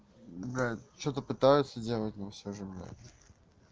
да что-то пытаются делать но всё же блять